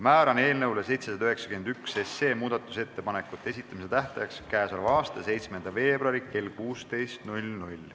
Määran eelnõu 791 muudatusettepanekute esitamise tähtajaks k.a 7. veebruari kell 16.